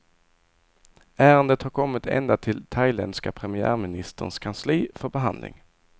Ärendet har kommit ända till thailändska premiärministerns kansli för behandling.